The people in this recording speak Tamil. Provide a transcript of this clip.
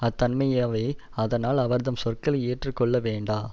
அத்தன்மையவே அதனால் அவர்தம் சொற்களை ஏற்று கொள்ள வேண்டா